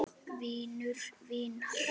Vinur vinar?